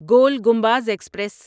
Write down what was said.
گول Gumbaz express